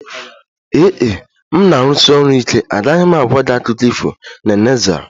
Ee e, m na-arụsi ọrụ ike, agaghị m agwa gị akụkọ ifo, Nene zara